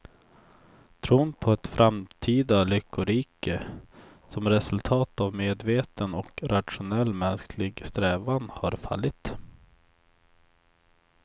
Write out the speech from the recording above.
Tron på ett framtida lyckorike som resultat av medveten och rationell mänsklig strävan har fallit.